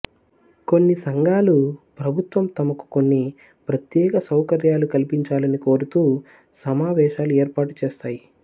కొన్ని సంఘాలు ప్రభుత్వం తమకు కొన్ని ప్రత్యేక సౌకర్యాలు కల్పించాలని కోరుతూ సమావేశాలు ఏర్పాటు చేస్తాయి